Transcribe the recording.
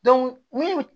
minnu